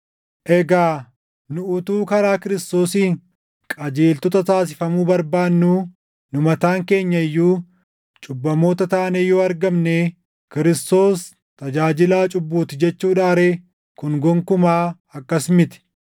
“Egaa nu utuu karaa Kiristoosiin qajeeltota taasifamuu barbaannuu nu mataan keenya iyyuu cubbamoota taanee yoo argamnee Kiristoos tajaajilaa cubbuuti jechuudhaa ree? Kun gonkumaa akkas miti!